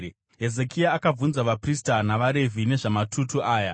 Hezekia akabvunza vaprista navaRevhi nezvamatutu aya.